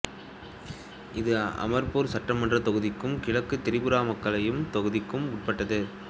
இது அமர்பூர் சட்டமன்றத் தொகுதிக்கும் கிழக்கு திரிபுரா மக்களவைத் தொகுதிக்கும் உட்பட்டது